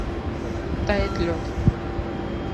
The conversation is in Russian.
тает лед